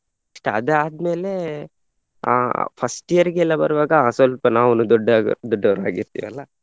Next ಅದ್ ಆದ್ಮೇಲೆ ಅಹ್ first year ಗೆ ಎಲ್ಲ ಬರುವಾಗ ಅಹ್ ಸ್ವಲ್ಪ ನಾವೊಂದು ದೊಡ್ಡ ದೊಡ್ಡವರ ಹಾಗೆ ಇರ್ತೇವೆ ಅಲ್ಲಾ.